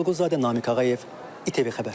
Toğrul Quluzadə, Namiq Ağayev, ITV Xəbər.